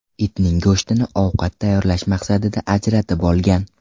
itning go‘shtini ovqat tayyorlash maqsadida ajratib olgan.